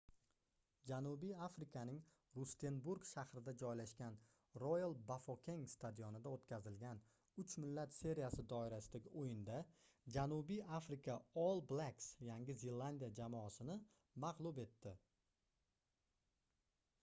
janubiy afrikaning rustenburg shahrida joylashgan royal bafokeng stadionida o'tkazilgan uch millat seriyasi doirasidagi o'yinda janubiy afrika all blacks yangi zelandiya jamoasini mag'lub etdi